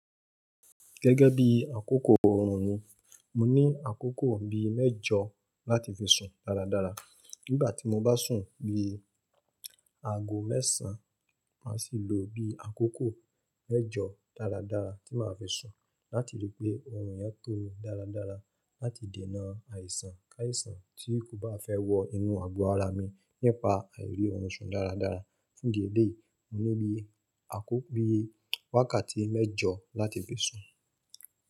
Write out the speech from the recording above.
Gẹ́gẹ́ bí àkókò oorùn mi, mo ní àkókò bí mẹ́jọ láti fi sùn dáradára. Nígbà tí mo bá sùn bí aago mẹ́sàn, màá sì lo bí àkókò mẹ́jọ dáradára tí màá fi sùn. Láti ri pé oorùn yẹn tó mi dáradára láti dènà àìsàn káìsàn tí kò bá fẹ́ wọ inú àgọ ara mi nípa àìrí ọrùn sùn dáradára. Fún ìdí èleyí, mo ní bí àkókò bí wákàtí mẹ́jọ láti fi sùn.